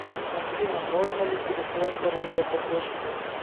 афина можно ли пересылать оружие по почте